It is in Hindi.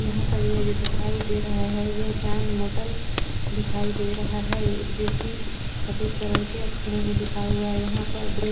यहाँ पर यह जो दिखाई दे रहा है यह चांद मोटल दिखाई दे रहा है जोकि सफेद कलर के अक्षरों में लिखा हुआ है यहाँ पर ब्रे--